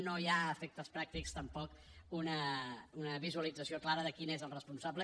no hi ha a efectes pràctics tampoc una visualització clara de qui és el responsable